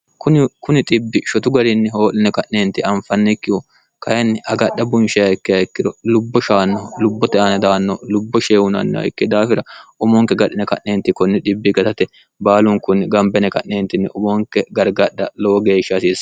kuni xibbi shotu garinni hoo'line ka'neenti anfannikkihu kayinni agadha bunshehikke hayikkiro lubbo shaanno lubbote ana daanno lubbo sheehunanniho ikke daafira umonke gadhine ka'neenti kunni bbi gatate baalunkunni gambene ka'neentinni umonke gargadha lowo geeshsha hasiissa